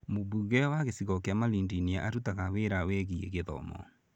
Mũmbunge wa gĩcigo kĩa Malindi nĩ araruta wĩra wĩgiĩ gĩthomo.